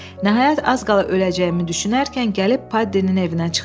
Nəhayət, az qala öləcəyimi düşünərkən gəlib Paddinin evinə çıxdım.